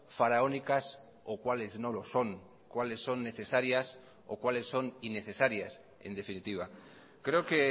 faraónicas o cuales no lo son cuales son necesarias o cuales son innecesarias en definitiva creo que